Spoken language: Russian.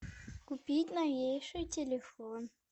купить новейший телефон